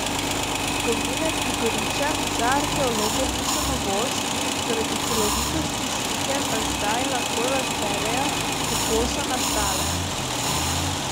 Gomile pri Goričah za arheologe niso novost, zaradi celovitosti slike pa zdaj lahko razberejo, kako so nastale.